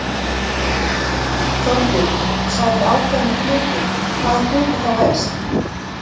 Þorbjörn: Þú sagðir ákveðnir hlutir, hvaða hluti þá helst?